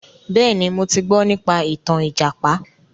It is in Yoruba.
Bẹ́ẹ̀ni, mo ti gbọ nípa ìtàn ìjàpá.